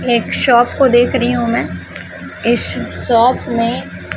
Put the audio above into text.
एक शॉप को देख रही हूं मैं इस शॉप में--